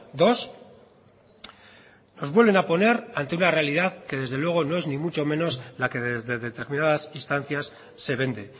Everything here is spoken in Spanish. dos nos vuelven a poner ante una realidad que desde luego no es ni mucho menos la que desde determinadas instancias se vende